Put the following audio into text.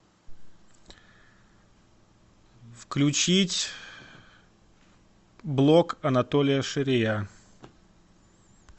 включить блок анатолия шария